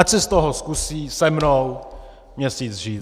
Ať si z toho zkusí se mnou měsíc žít.